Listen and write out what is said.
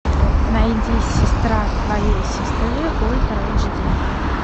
найди сестра твоей сестры ультра эйч ди